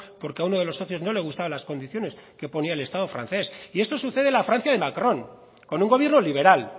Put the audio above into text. porque a uno de los socios no le gustaban las condiciones que ponía el estado francés y esto sucede en la francia de macron con un gobierno liberal